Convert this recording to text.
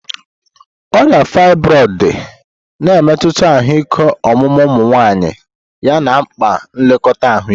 Ọrịa fibroids dị, na-emetụta ahụike ọmụmụ ụmụ nwanyị yana mkpa nlekọta ahụike.